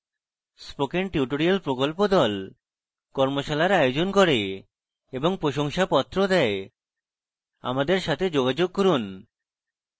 spoken tutorial প্রকল্প the কর্মশালার আয়োজন করে এবং প্রশংসাপত্র the আমাদের সাথে যোগাযোগ করুন